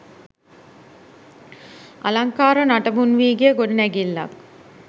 අලංකාර නටබුන් වී ගිය ගොඩනැගිල්ලක්